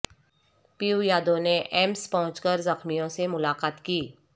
پپو یادو نے ایمس پہنچ کر زخمیوں سے ملاقات کی